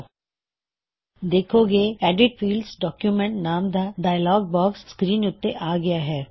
ਦੇੱਖੋ ਕੀ edit fields document edit fieldsਡਾਕੂਮੈਂਟਸ ਨਾਮ ਦਾ ਡਾਇਅਲੌਗ ਬਾਕਸ ਸਕ੍ਰੀਨ ਉੱਤੇ ਆ ਗਇਆ ਹੈ